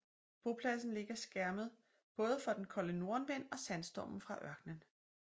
Bopladsen ligger skærmet både for den kolde nordenvind og sandstormen fra ørkenen